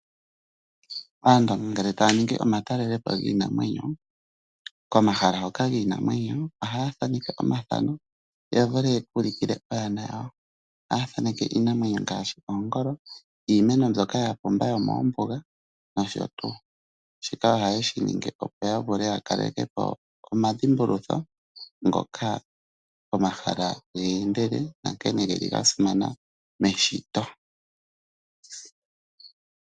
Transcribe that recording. Aantu ngele taya ningi omatalelepo giinamwenyo, komahala hoka giinamwenyo. Ohaya thaneke omathano ya vule okuka ulikila aana yawo. Ohaya thaneke iinamwenyo ngashi oongolo, iiemeno mbyoka ya pumba yomombuga nosho tuu, shika ohaye shi ningi opo yakalekepo oma dhimbulutho go mahala ngoka ya endele nankene geli ga simana meshito.